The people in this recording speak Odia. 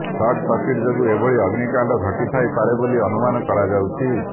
ସଟ ସର୍କିଟ ଯୋଗୁଁ ଏଭଳି ଅଗ୍ନକାଣ୍ଡ ଘଟିଥାଇ ପାରେ ବୋଲି ଅନୁମାନ କରାଯାଉଛି